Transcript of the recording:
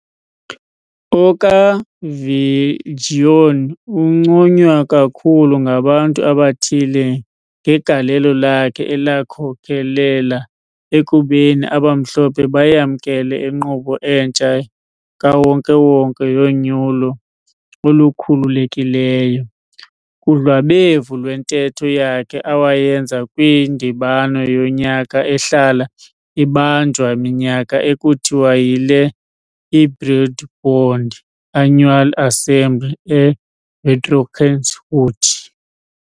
OkaViljoen unconywa kakhulu ngabantu abathile ngegalelo lakhe elakhokhelela ekubeni abamhlophe bayamnkele inkqubo entsha kawonke-wonke yonyulo olukhululekileyo. Kudlwabevu lwentetho yakhe awayenza kwindibano yonyaka ehlala ibanjwa minyaka ekuthiwa yile I-Broederbond annual assembly e-Voortrekkerhoogte .